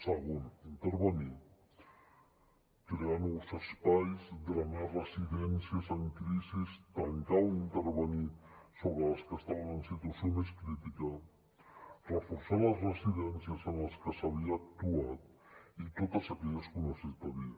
segon intervenir crear nous espais drenar residències en crisi tancar o intervenir sobre les que estaven en situació més crítica reforçar les residències en les que s’havia actuat i totes aquelles que ho necessitarien